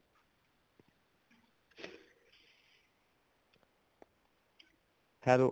hello